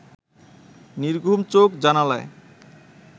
নির্ঘুম চোখ জানালায়